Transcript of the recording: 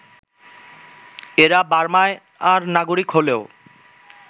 এরা বার্মার নাগরিক হলেও